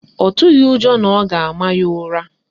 Ọ tụghị ụjọ na ọ ga-ama ya ụra